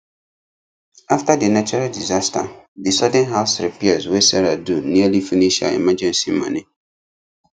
after the natural disaster the sudden house repairs wey sarah do nearly finish her emergency money